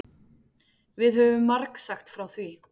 Við höfum margsagt frá því.